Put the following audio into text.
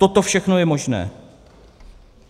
Toto všechno je možné.